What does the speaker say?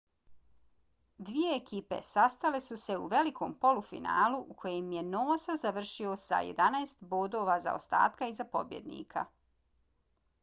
dvije ekipe sastale su se u velikom polufinalu u kojem je noosa završio sa 11 bodova zaostatka iza pobjednika